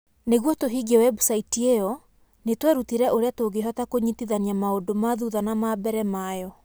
Nĩguo tũhingie webusaiti ĩyo nĩ twerutire ũrĩa tũngĩhota kũnyitithania maũndũ ma thutha na ma mbere ma yo